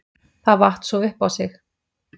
Það vatt svo upp á sig.